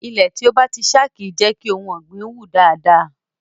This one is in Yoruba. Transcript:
Ilẹ̀ tí ó bá ti ṣá kì í jẹ́ kí ohun ọ̀gbìn wù dáadáa.